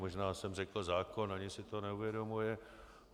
Možná jsem řekl zákon, ani si to neuvědomuji.